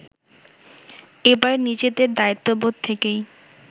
এবার নিজেদের দায়িত্ববোধ থেকেই